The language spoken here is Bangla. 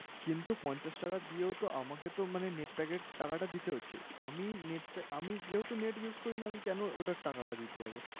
কিন্তু পঞ্চাশ টাকা দিয়েও তো আমাকে তো মানে net pack এর টাকাটা দিতে হচ্ছে। আমি net pa আমি যেহেতু net use করিনা, আমি কেন ওটার টাকাটা দিতে যাবো?